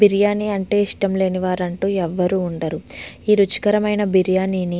బిర్యానీ అంటే ఇష్టం లేని వాళ్ళు ఎవరు వుండరు. ఈ రుచికరమైన బిర్యానీ ని --